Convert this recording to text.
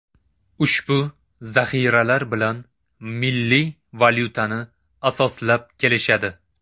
Ushbu zaxiralar bilan milliy valyutani asoslab kelishadi.